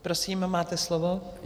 Prosím, máte slovo.